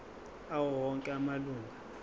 awo onke amalunga